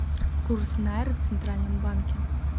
курс найры в центральном банке